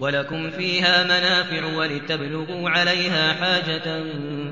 وَلَكُمْ فِيهَا مَنَافِعُ وَلِتَبْلُغُوا عَلَيْهَا حَاجَةً